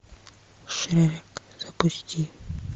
шрек запусти